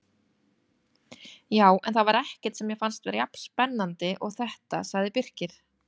Já, en það var ekkert sem mér fannst vera jafn spennandi og þetta sagði Birkir.